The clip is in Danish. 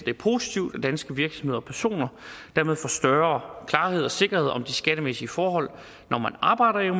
er positivt at danske virksomheder og personer dermed får større klarhed og sikkerhed om de skattemæssige forhold når man arbejder